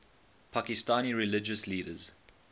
pakistani religious leaders